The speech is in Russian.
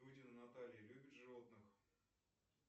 дудина наталья любит животных